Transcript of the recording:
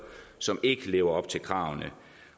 som ikke lever op til kravene